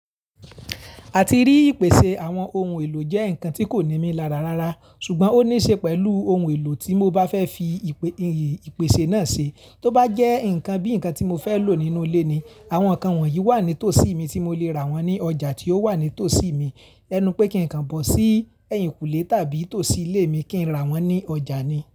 A ti rí ìpèsè àwọn ohun èlò jẹ́ ǹkan tí kò ní mí lárà rara, ṣùgbọ́n ó níṣe pẹ̀lú ohun èlò tí mo bá fẹ́ fi ipe ìpèsè náà ṣe. Tóbá jẹ́ ǹkan bí ǹkan tí mo fẹ́ lò nínú ilé ni, àwọn ǹkan wọ̀nyí wà nítòsí mi tí mo lè rà wọ́n ní ọjà tí ó wà nítòsí mi. Ẹnu pé kí ǹkan bọ́ sí ẹ̀yìnkùlé tàbí tòsí ilé mi kí n rà wọ́n ní ọjà ni.